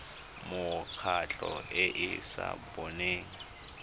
mekgatlho e e sa boneng